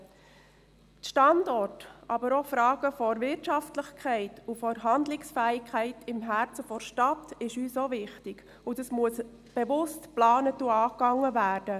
Die Standorte, aber auch Fragen der Wirtschaftlichkeit und der Handlungsfähigkeit im Herzen der Stadt Bern sind uns ebenfalls wichtig, und dieses Thema muss bewusst und geplant angegangen werden.